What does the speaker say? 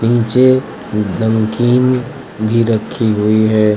नीचे नमकीन भी रखी हुई है।